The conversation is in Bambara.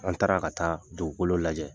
An taara ka taa dugukolo lajɛ.